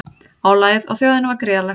Álagið á þjóðina var gríðarlegt